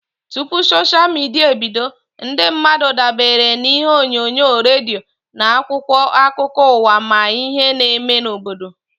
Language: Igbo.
Tụpụ soshia midia ebido, ndị mmadụ dabere na ihe onyonyo, redio na akwụkwọ akụkọ ụwa ịma ihe n'eme n'obodo